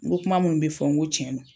N ko kuma munnu bɛ fɔ n ko tiɲɛ do.